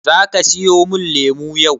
Zaka siya mun lemu yau?